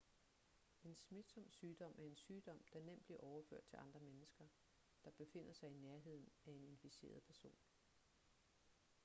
en smitsom sygdom er en sygdom der nemt bliver overført til andre mennesker der befinder sig i nærheden af en inficeret person